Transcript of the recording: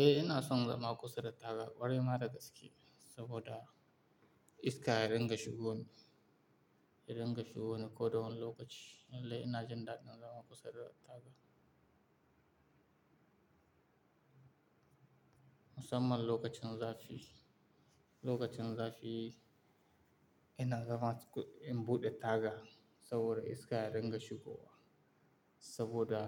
Eh ina son zama kusa da taga, kwarai ma da gaske saboda iska ya dinga shigowa, ya dinga shigowa ko da wane lokaci. Lallai ina jin daɗin zama kusa da taga. Musamman lokacin zafi, lokacin zafi ina zama in buɗe taga saboda iska ya dinga shigowa saboda